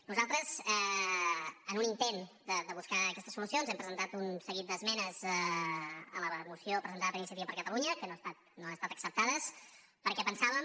nosaltres en un intent de buscar aquesta solució hem presentat un seguit d’esmenes a la moció presentada per iniciativa per catalunya que no han estat acceptades perquè pensàvem